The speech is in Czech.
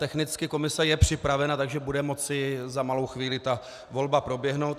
Technicky je komise připravena, takže bude moci za malou chvíli ta volba proběhnout.